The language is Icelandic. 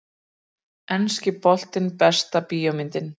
Enski boltinn Besta bíómyndin?